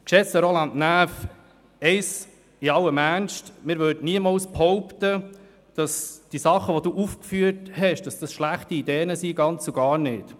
Geschätzter Roland Näf, wir würden im Ernst niemals behaupten, dass die Sachen, die Sie aufgeführt haben, schlechte Ideen wären, ganz und gar nicht.